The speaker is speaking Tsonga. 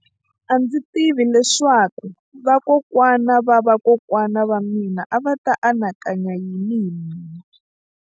A ndzi tivi leswaku vakokwana-va-vakokwana va mina a va ta anakanya yini hi mina.